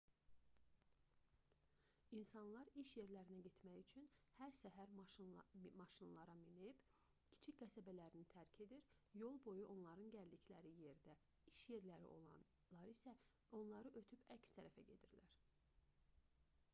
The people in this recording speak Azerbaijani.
i̇nsanlar iş yerlərinə getmək üçün hər səhər maşınlara minib kiçik qəsəbələrini tərk edir yolboyu onların gəldikləri yerdə iş yerləri olanlar isə onları ötüb əks tərəfə gedirlər